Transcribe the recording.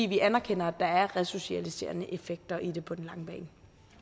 vi anerkender at der er resocialiserende effekter i det på den lange bane